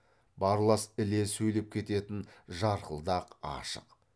барлас іле сөйлеп кететін жарқылдақ ашық